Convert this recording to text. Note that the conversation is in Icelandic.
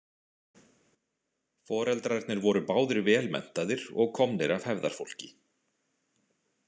Foreldrarnir voru báðir vel menntaðir og komnir af hefðarfólki.